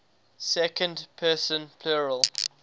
second person plural